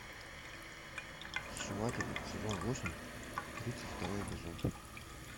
сшиватели сезон восемь тридцать второй эпизод